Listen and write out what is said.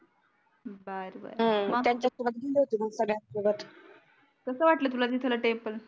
कसं वाटलं तुला तिथलं टेम्पल